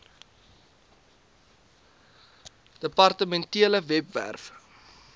depar tementele webwerf